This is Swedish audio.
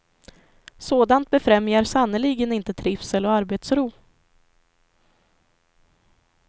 Sådant befrämjar sannerligen inte trivsel och arbetsro.